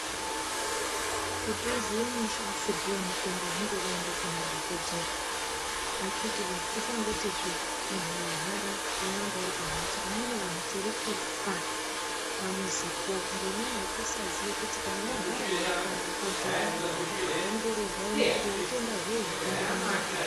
Kuti uziye mashandisirwo yemutombo hunge waenda Kuna dhokodheya akiti woye tisangoti muntu arwara toramba tiri pambatso amweni anhu tiri kufa pamuzi po ngenyaya yekusaziva kuti kana warwara enda kwadhokodheya worapwa woongororwaa kuonekwa kuti hutenda hwei hwapinda munyama.